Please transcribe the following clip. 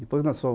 Depois nós fomos